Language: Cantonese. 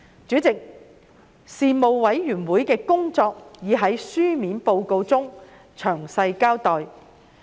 主席，事務委員會的工作已在書面報告中詳細交代。